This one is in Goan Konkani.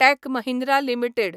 tech Mahindra limited